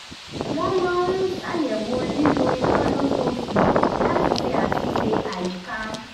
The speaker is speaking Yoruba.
wọ́n máa ń ṣàyẹ̀wò lílò iná lóṣooṣù láti ṣe àtúnṣe àyíká